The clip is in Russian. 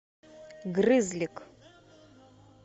грызлик